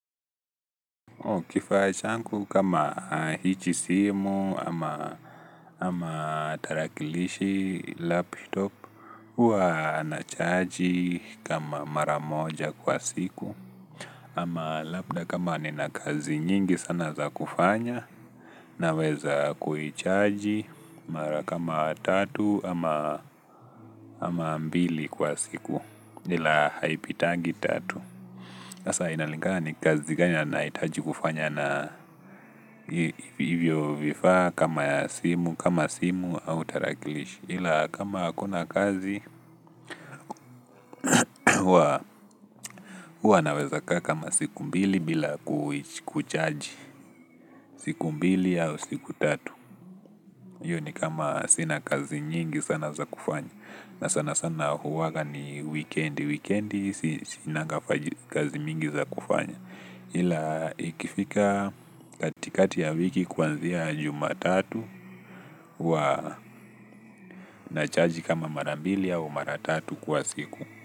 Kifaa changu kama hichi simu ama ama tarakilishi, laptop huwa na chaji kama mara moja kwa siku ama labda kama ni na kazi nyingi sana za kufanya na weza kuhi charge mara kama tatu ama mbili kwa siku ila haipitagi tatu asa inalinga ni kazi gani nahitaji kufanya na hivyo vifa kama simu kama simu au tarakilishi ila kama hakuna kazi huwa naweza kaa kama siku mbili bili kuchaji siku mbili au siku tatu iyo ni kama sina kazi nyingi sana za kufanya na sana sana huwaga ni wikendi wikendi sinanga kazi mingi za kufanya ila ikifika katikati ya wiki kwanzia jumatatu huwa nachaji kama marambilia u maratatu kwa siku.